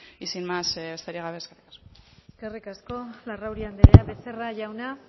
besterik gabe eskerrik asko eskerrik asko larrauri anderea becerra jauna